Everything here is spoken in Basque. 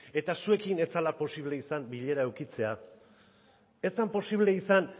eta zuekin ez zela posible izan bilera edukitzea ez zen posible izan